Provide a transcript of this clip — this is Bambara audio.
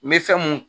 N bɛ fɛn mun